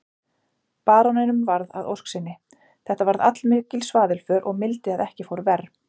Baróninum varð að ósk sinni, þetta varð allmikil svaðilför og mildi að ekki fór verr.